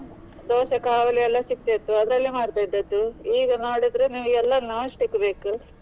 Dosa ಕಾವಲಿ ಎಲ್ಲಾ ಸಿಕ್ತಾ ಇತ್ತು ಅದರಲ್ಲೇ ಮಾಡ್ತಾ ಇದ್ದದ್ದು. ಈಗ ನೋಡಿದ್ರೆ ನಿಮಗೆ ಎಲ್ಲಾ non stick ಬೇಕು.